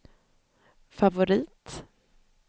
favorit